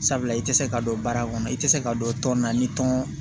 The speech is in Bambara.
Sabula i tɛ se ka dɔn baara kɔnɔ i tɛ se k'a dɔn tɔn na ni tɔn